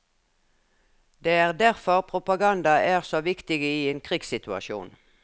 Det er derfor propaganda er så viktig i en krigssituasjon.